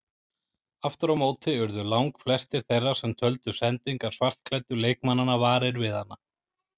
Aftur á móti urðu langflestir þeirra sem töldu sendingar svartklæddu leikmannanna varir við hana.